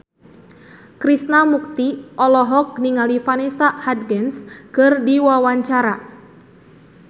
Krishna Mukti olohok ningali Vanessa Hudgens keur diwawancara